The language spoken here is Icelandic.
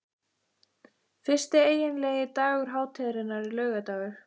Fyrsti eiginlegi dagur hátíðarinnar er laugardagur.